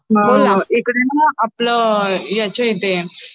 आपलं याचे ते